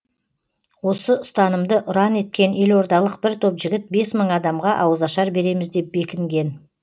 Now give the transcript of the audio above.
осы ұстанымды ұран еткен елордалық бір топ жігіт бес мың адамға ауызашар береміз деп бекінген